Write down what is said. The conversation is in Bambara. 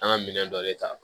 An ka minɛn dɔ de ta